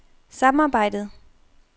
samarbejdet